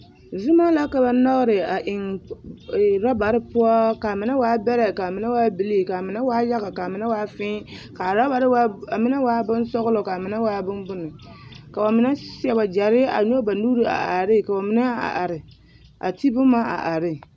Zoma la ka ba nɔgere a eŋ robare poɔ ka a mine waa bɛrɛ ka a mine waa bilii ka mine waa yaga ka a mine waa fii k'a robare k'a mine waa bonsɔgelɔ k'a mine waa bombone ka bamine seɛ wagyɛre a nyɔge ba nuuri a are ne ka bamine a are a te boma a are ne.